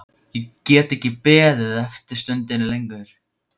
Ég gat ekki beðið stundinni lengur.